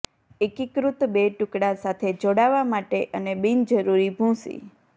એકીકૃત બે ટુકડા સાથે જોડાવા માટે અને બિનજરૂરી ભૂંસી